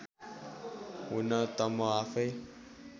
हुन त म आफैँ